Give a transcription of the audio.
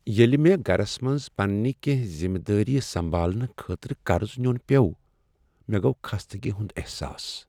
ییٚلہ مےٚ گرس منٛز پننِہ کیٚنٛہہ ذمہٕ دٲریہٕ سمبالنہٕ خٲطرٕ قرض نیون پیوو، مےٚ گوو خستگی ہُند احساس۔